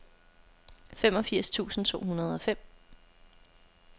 femogfirs tusind to hundrede og fem